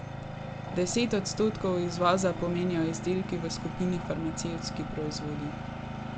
Deset odstotkov izvoza pomenijo izdelki v skupini farmacevtski proizvodi.